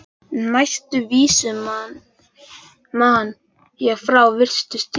Næstu vísu man ég frá fyrstu tíð.